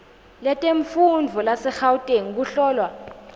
letemfundvo lasegauteng kuhlolwa